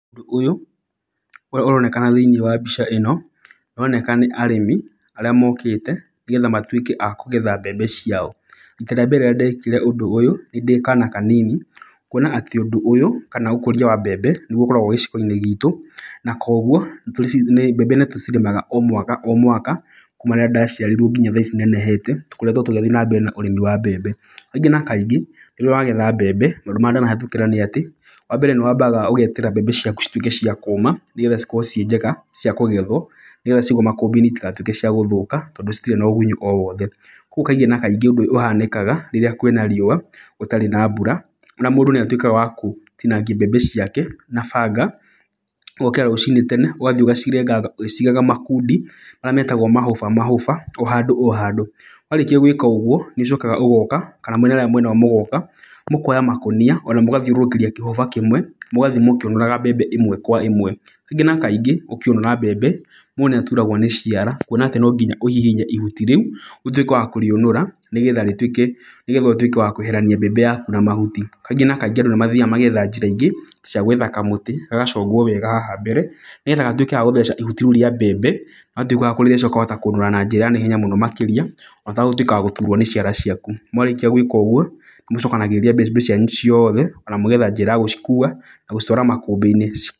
Ũndũ ũyũ ũrĩa ũronekana thĩiniĩ wa mbica ĩno, nĩ ũroneka nĩ arĩmi arĩa mokĩte nĩgetha matuĩke a kũgetha mbembe ciao. Rita rĩa mbere rĩrĩa ndekire ũndũ nĩ ndĩ kana kanini. Kuona atĩ ũndũ kana ũkũria wa mbembe nĩguo ũkoragwo gĩcigo-inĩ gitũ. Na koguo mbembe nĩ tũcirĩmaga o mwaka o mwaka kuma rĩrĩa ndaciarirwo nginya tha ici nenehete, tũkoretwo tũgĩthiĩ na mbere na ũrĩmi wa mbembe. Kaingĩ na kaingĩ rĩrĩa ũragetha mbembe, nĩ atĩ wa mbere nĩ wambaga ũgeterera mbembe ciaku cituĩke cia kũũma, nĩgetha cikorwo ciĩ njega cia kũgethwo. Nĩgetha ciaigwo makũmbĩ-inĩ citigatuĩke cia gũthũka tondũ citirĩ na ũgunyũ o wothe. Koguo kaingĩ na kaingĩ ũndũ ũrĩa ũhanĩkaga rĩrĩa kwĩna riũa gũtarĩ na mbura, ona mũndũ nĩ atuĩkaga wa gũtinangia mbembe ciake na banga. Ũgokĩra rũcinĩ tene ũgathiĩ ũgacirenga ũgĩciigaga makundi marĩa metagwo mahoba o handũ o handũ. Warĩkia gwĩka ũguo nĩ ũcokaga ũgoka kana mwĩna arĩa mwĩna o mũgoka, mũkoya makũnia ona mũgathiũrũrũkĩria kĩhoba kĩmwe, miukĩũnũraga mbembe ĩmwe kwa ĩmwe. Kaingĩ na kaingĩ ũkĩũnũra mbembe mũndũ nĩ aturagwo nĩ ciara, kuona atĩ no nginya ũhihinye ihuti rĩu ũtuĩke wa kũrĩũnũra, nĩgetha rĩtuĩke nĩgetha ũtuĩke wa kweherania mbembe yaku na mahuti. Kaingĩ na kaingĩ andũ nĩ mathiaga magetha njĩra ingĩ cia gwetha kamũtĩ, gagacongwo wega haha mbere, nĩgetha gatuĩke ga gũtheca ihuti rĩu rĩa mbembe. Watuĩka wa kũrĩtheca ũkahota kũnũra na njĩra ya naihenya mũno makĩria, ona ũtagũtuĩka wa gũturwo nĩ ciara ciaku. Mwarĩkia gwĩka ũguo, nĩ mũcokanagĩrĩria mbembe cianyu ciothe na mũgetha njĩra ya gũcikua na gũcitwara makũmbĩ-inĩ ci...